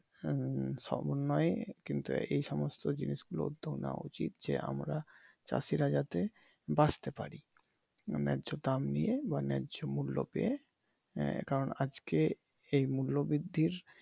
হুম সমন্বয় কিন্তু এই সমস্ত জিনিস গুলো উদ্যেগ নেওয়া উচিত আমরা চাষিরা যাতে বাঁচতে পারি, ন্যায দাম নিয়ে বা ন্যায মূল্য পেয়ে এ কারন আজকের মূল্য বৃদ্ধির